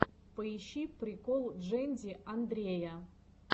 поищи прикол джэнди андрея